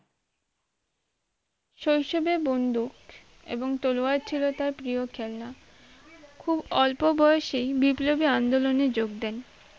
শৈশবে বন্ধুক এবং তলোয়ার ছিল তার প্রিয় খেলনা খুব অল্প বয়সে বিপ্লবী আন্দোলনে যোগ দেন